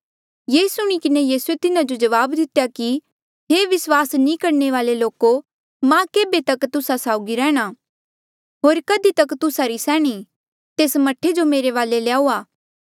ये सुणी किन्हें यीसूए तिन्हा जो जवाब दितेया कि हे विस्वास नी करणे वाले लोको मां केभे तक तुस्सा साउगी रैहणां होर कधी तक तुस्सा री सैहणी तेस मह्ठे जो मेरे वाले ल्याऊआ